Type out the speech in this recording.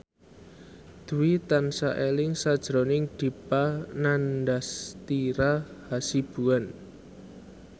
Dwi tansah eling sakjroning Dipa Nandastyra Hasibuan